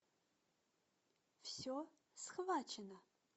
все схвачено